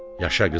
Yaşa qızım,